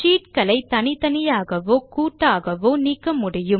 sheet களை தனித்தனியாகவோ கூட்டாகவோ நீக்க முடியும்